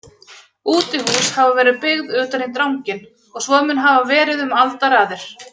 Útihús hafa verið byggð utan í dranginn og svo mun hafa verið um aldaraðir.